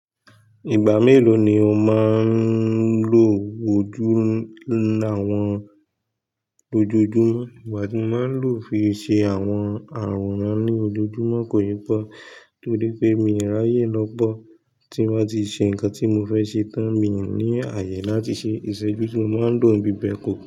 Ìgbà mélòó ni o máa ń lo ojú ní àwọn ojoojúmọ́? Ìgbà tí mo máa ń lo fi ṣe àwọn àrùn ran ní ojoojúmọ́ kò yípo tórí pé mi ò ráyè lọ́pọ̀ tí mo bá ti ṣe nǹkan tí mo fẹ́ ṣe tán, mi ò ní àyè láti ṣe ìṣẹ́jú tí mo máa ń lòǹ bí bẹ́ẹ̀ kọ́.